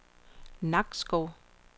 Nakskov